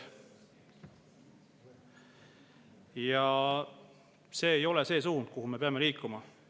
Ja see ei ole see suund, kuhu me peame liikuma.